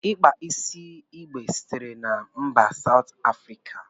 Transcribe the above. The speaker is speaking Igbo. Ịkpa isi igbe sitere na mba Sout Afrika.